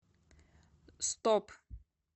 стоп